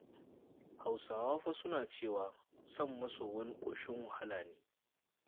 Hausawa fa suna cewa son maso wani ƙoshin wahala ne.